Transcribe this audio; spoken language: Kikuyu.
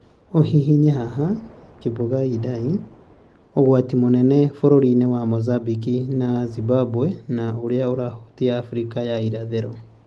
ũhihinye haha: Kimbunga Idai: 'ũgwati mũnenebũrũri-inĩ wa Mozambique na Zimbabwe na ũrĩa ũrahutia Abirika ya irathĩro ithano.